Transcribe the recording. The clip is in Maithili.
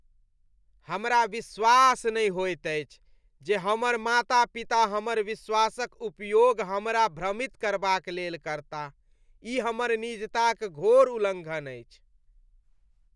हमरा विश्वास नहि होइत अछि जे हमर माता पिता हमर विश्वासक उपयोग हमरा भ्रमित करबाक लेल करताह । ई हमर निजताक घोर उल्लङ्घन अछि।